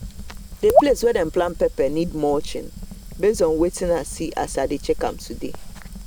the place wey them plant pepper need mulching base on wetin i see as i check am today